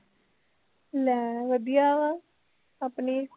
ਲੈ ਵਧੀਆ ਵਾਂ ਆਪਣੀ